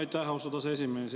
Aitäh, austatud aseesimees!